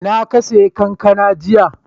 A ina ka siyo kankana jiya?